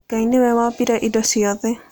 Ngai nĩwe wombire indo ciothe.